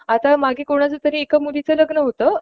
आता मागे कुणाचातरी लग्न होत